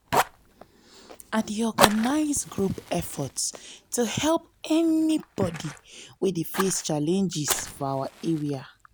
i dey organize group efforts to help anybody wey dey face challenges for our area.